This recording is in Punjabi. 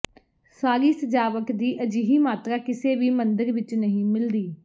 ਸਾਰੀ ਸਜਾਵਟ ਦੀ ਅਜਿਹੀ ਮਾਤਰਾ ਕਿਸੇ ਵੀ ਮੰਦਿਰ ਵਿਚ ਨਹੀਂ ਮਿਲਦੀ